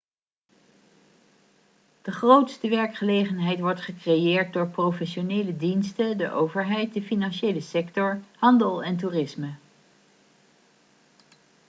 de grootste werkgelegenheid wordt gecreëerd door professionele diensten de overheid de financiële sector handel en toerisme